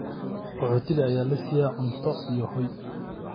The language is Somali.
Qaxootiga ayaa la siiyay cunto iyo hoy.